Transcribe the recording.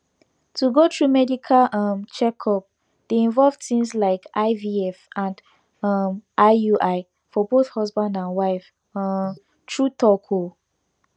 to go through medical um checkup dey involve things like ivf and um iui for both husband and wife um true talk ohh